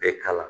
Bɛɛ k'a la